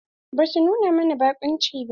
Basu nuna mana baƙunci ba.